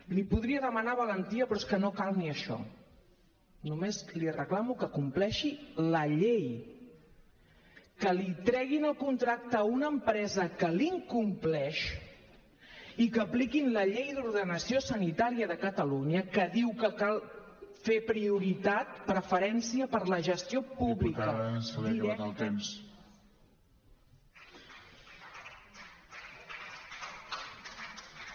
li podria demanar valentia però és que no cal ni això només li reclamo que compleixi la llei que li treguin el contracte a una empresa que l’incompleix i que apliquin la llei d’ordenació sanitària de catalunya que diu que cal fer prioritat preferència per la gestió pública directa